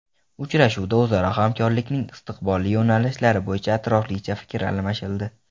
Uchrashuvda o‘zaro hamkorlikning istiqbolli yo‘nalishlari bo‘yicha atroflicha fikr almashildi.